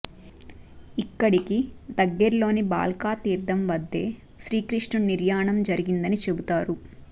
ఇక్కడికి దగ్గర్లోని భాల్కా తీర్థం వద్దే శ్రీ కృష్ణుడి నిర్యాణం జరిగిందని చెబుతారు